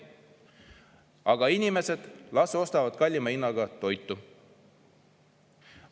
Aga inimesed las ostavad kallima hinnaga toitu.